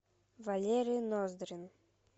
валерий ноздрин